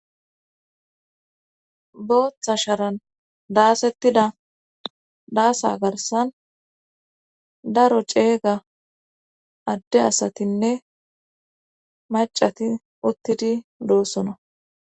booththa sharan daasettida daasa garsan daro ceega adde asatinne macati uttidi doossona